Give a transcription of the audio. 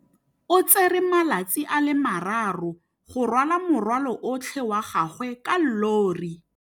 O tsere malatsi a le marraro go rwala morwalo otlhe wa gagwe ka llori.